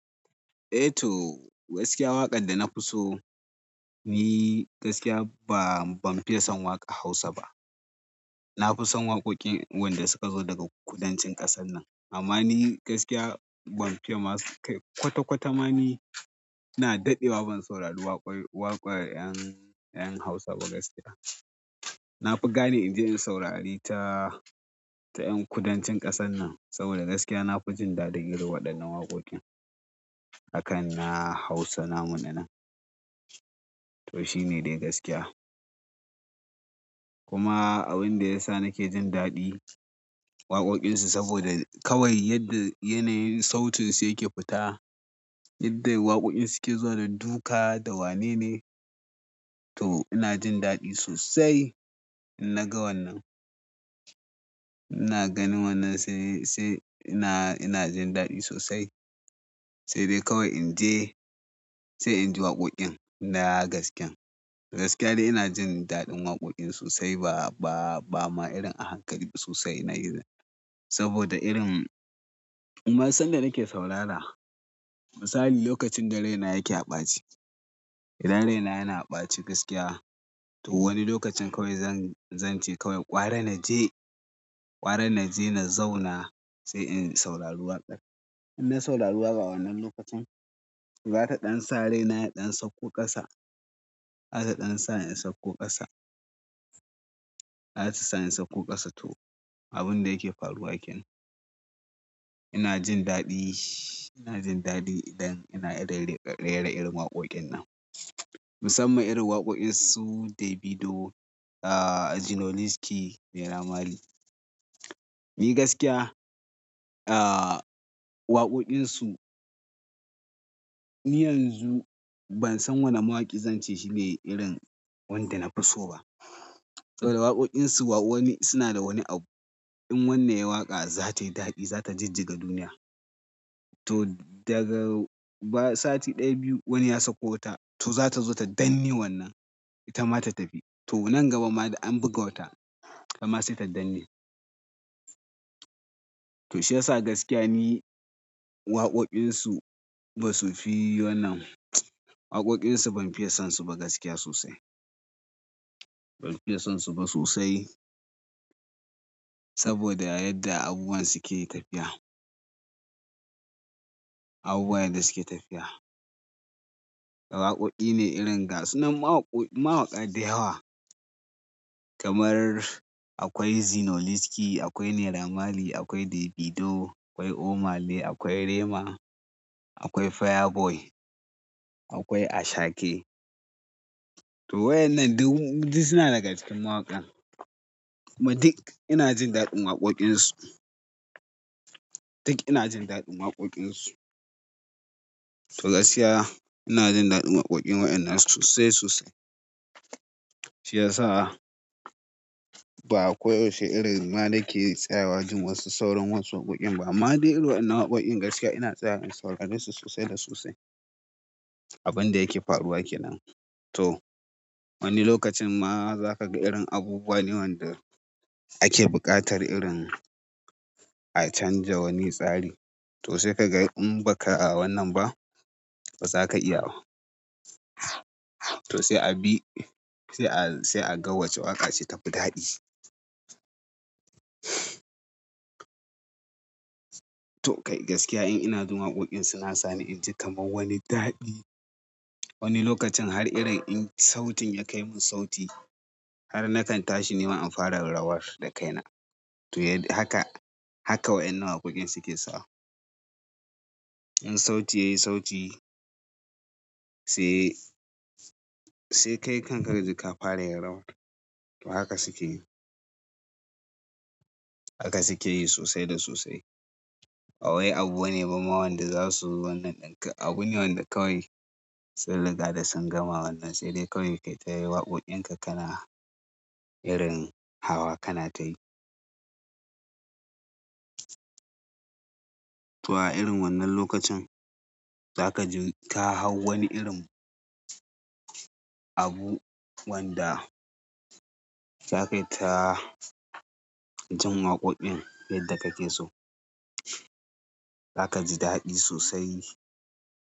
Eh to gaskiya waƙar da na fi so, ni gaskiya ba, ban fiye son waƙar Hausa ba. Nafison waƙoƙi wanda suka zo daga kudancin kaɗan nan amma ni gaskiya ban fiye ma kai kwata kwata ma ni na daɗewa ban saurari waƙar, waƙar 'yan, 'yan Hausa ba gaskiya. Na fi gane in je in saurari ta, ta ƴan kudancin ƙasar nan saboda gaskiya na fi jin daɗi girma waɗannan waƙoƙin. Akan na Hausa namun na nan. To shine dai gaskiya. Kuma abin da ya sa nake jin daɗi waƙoƙinsu saboda kawai yadda yanayin sautin su yake fita, yadda waƙoƙin suke zuwa da duka da wane ne. To ina jin daɗi sosai in naga wannan. Ina ganin wannan sai, sai ina, ina jin daɗi sosai. Sai dai kawai in je sai in ji waƙoƙin na gasken. Gaskiya dai ina jin daɗin waƙoƙinsu sai ba, ba, ba ma irin a hankali sosai ina yi saboda irin kuma sanda nake saurara misali lokacin da raina yake a ɓace idan raina yana ɓaci gaskiya to wani lokacin kawai zan, zan ce kawai gwara na je, gwara na je na zauna sai in saurari waƙar. In na saurari waƙa a wannan lokacin, za ta ɗan sa rai na ya ɗan sauko ƙasa. Za ta ɗan sa in sauko ƙasa. Za ta sa in sauko ƙasa to abin da yake faruwa kenan. Ina jin daɗi, ina jin daɗi idan ina rera irin waƙoƙin nan. Musamman irin waƙoƙin su dabido aah zinoliski naira maali ni gaskiya, ah waƙoƙinsu, ni yanzu ban san wane mawaƙi zance shi ne irin wanda na fi so ba. Saboda waƙoƙinsu wa wani suna da wani abu in wannan yayi waƙa za tayi daɗi, za ta jijjiga duniya. To daga ba sati ɗaya biyu wani ya sako wata to za ta zo ta danne wannan. Ita ma ta tafi. To nan gaba ma da an buga ta amma sai ta danna. To shi ya sa gaskiya ni waƙoƙinsu ba su fi wannan. Waƙoƙinsu ban fiye son su ba gaskiya sosai. Ban fiye son su ba sosai saboda yadda abubuwan suke tafiya. Abubuwan da suke tafiya. Waƙoƙi ne irin ga sunan mawaƙa, mawaƙa da yawa kamar akwai Zinoleeski, akwai Naira Mali, akwai Davido, akwai Omah Lay, akwai Rema, akwai fire boy akwai ashake to waɗannan duk su suna daga cikin mawaƙa. Kuma duk ina jin daɗin waƙoƙinsu. Duk ina jin daɗin waƙoƙinsu. To gaskiya ina jin daɗin waƙoƙin waɗannan sosai sosai. Shi ya sa ba ako yaushe irin ma na ke tsaya wajen wasu saurin wasu waƙoƙin ba amma dai irin wannan waƙoƙin gaskiya ina tsaya in saurari su sosai da sosai. Abin da yake faruwa kenan. To wani lokacin ma za ka ga irin abubuwa ne wanda ake buƙatar irin a canja wani tsari. To sai ka ga in ba ka a wannan ba ba za ka iya ba. To sai a bi, sai a, sai a ga wace waƙa ce ta fi daɗi. To kai gaskiya in inajin waƙoƙin suna sani in ji kamar wani daɗi. Wani lokacin har irin in sautin ya kai min sauti har nakan tashi nima in fara rawar da kaina. To ya haka, haka waɗannan waƙoƙin suke sa. In sauti yayi sauti sai kawai kaj kafararawa haka suke yi. Haka suke yi sosai da sosai. Bawai abu wane ba ma wanda za su zo wannan ɗin ka. Abu ne wanda kawai sun riga da sun gama wannan sai dai kawai kai ta yi waƙoƙin ka kana irin hawa kana tayi. To a irin wannan lokacin za ka ji ta hau wani irin abu wanda za ka yi ta jin waƙoƙin yadda kake so. Za ka ji daɗi sosai.